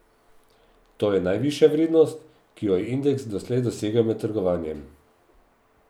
To je najvišja vrednost, ki jo je indeks doslej dosegel med trgovanjem.